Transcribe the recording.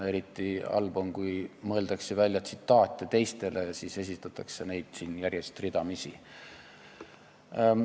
Eriti halb on, kui mõeldakse välja tsitaate teistele ja siis esitatakse neid siin järjest ridamisi.